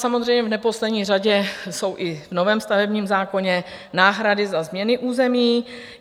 Samozřejmě v neposlední řadě jsou i v novém stavebním zákoně náhrady za změny území.